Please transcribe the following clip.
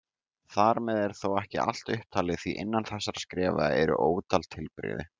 Þar með er þó ekki allt upptalið því innan þessara skrefa eru ótal tilbrigði.